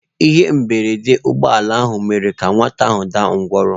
Ihe mberede ụgbọ ala ahụ mere ka nwata ahụ daa ngwọrọ.